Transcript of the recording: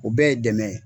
O bɛɛ ye dɛmɛ ye